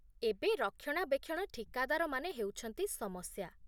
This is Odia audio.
ଏବେ ରକ୍ଷଣାବେକ୍ଷଣ ଠିକାଦାରମାନେ ହେଉଛନ୍ତି ସମସ୍ୟା